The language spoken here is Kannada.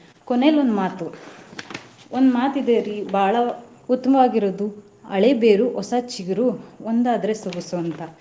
ಕೊನೆಲಿ ಒಂದ್ ಮಾತು ಒಂದ್ ಮಾತ್ ಇದೆರಿ ಬಾಳ ಉತ್ಮವಾಗಿರೋದು ಹಳೆ ಬೇರು ಹೊಸ ಚಿಗುರು ಒಂದಾದ್ರೆ ಸೊಗಸು ಅಂತ.